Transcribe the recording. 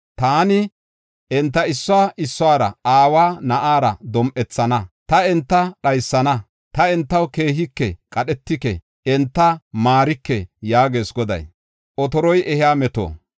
Taani enta, issuwa issuwara, aawa na7aara dom7ethana. Ta enta dhaysana; ta entaw keehike, qadhetike; enta maarike’ ” yaagees Goday.